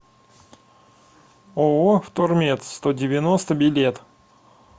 ооо втормет сто девяносто билет